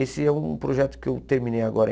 Esse é um projeto que eu terminei agora.